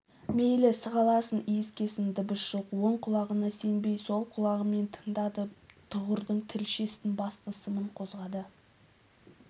мейлі сығаласын иіскесін дыбыс жоқ оң құлағына сенбей сол құлағымен тыңдады тұғырдың тілшесін басты сымын қозғады